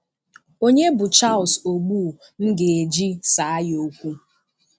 Onye bụ Charles Ogbu m ga-eji saa ya okwu?